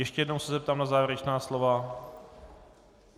Ještě jednou se zeptám na závěrečná slova.